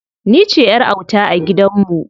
Ni ce ƴar auta a gidan mu.